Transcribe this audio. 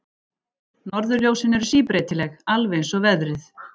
Norðurljósin eru síbreytileg, alveg eins og veðrið.